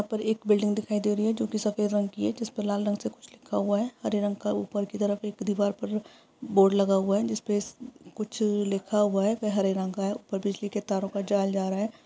यहाँ पर एक बिल्डिंग दिखाई दे रही है जो कि सफेद रंग की है जिस पे लाल रंग से कुछ लिखा हुआ है। हरे रंग का ऊपर की तरफ दीवार पर बोर्ड लगा हुआ है जिस पे कुछ लिखा हुआ है वे हरे रंग का ऊपर बिजली के तारों का जाल जा रहा हैं।